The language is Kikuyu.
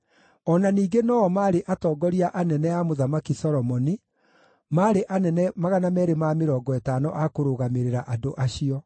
O na ningĩ no-o maarĩ atongoria anene a Mũthamaki Solomoni, maarĩ anene 250 a kũrũgamĩrĩra andũ acio.